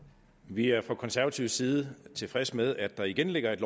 vi er fra konservativ side tilfredse med at der igen ligger et